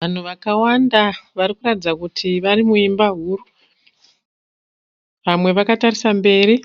Vanhu vakawanda varikuratidza kuti vari muimba huru. Vamwe vakatarisa mberi